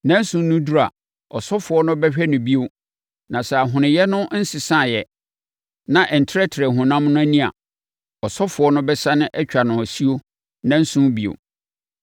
Nnanson no duru a, ɔsɔfoɔ no bɛhwɛ no bio na sɛ ahonoeɛ no nsesaeɛ na ɛntrɛtrɛɛ honam no ani a, ɔsɔfoɔ no bɛsane atwa no asuo nnanson bio.